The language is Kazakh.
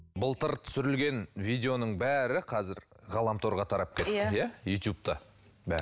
былтыр түсірілген видеоның бәрі қазір ғаламторға тарап кетті иә ютубта бәрі